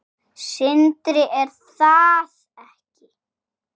Sindri: Er það ekki?